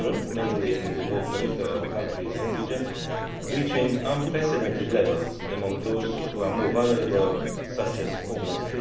mainly in the more peripheral countries and regions, reaching unprecedented levels among those who are more vulnerable, such as the homeless.